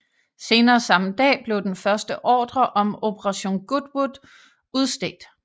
Senere samme dag blev den første ordre om Operation Goodwood udstedt